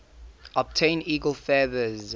obtain eagle feathers